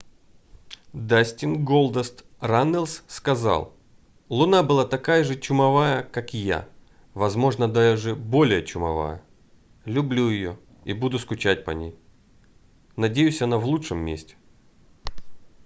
дастин голдаст раннелс сказал луна была такая же чумовая как я возможно даже более чумовая люблю её и буду скучать по ней надеюсь она в лучшем месте